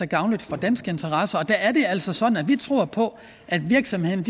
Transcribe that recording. gavnlige for danske interesser og der er det altså sådan at vi tror på at virksomhederne